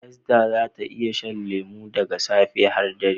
Esther za ta iya shan lemu daga safe har dare.